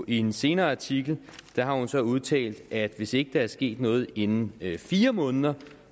en senere artikel har hun så udtalt at hvis ikke der var sket noget inden fire måneder